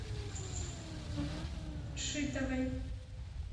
шитовой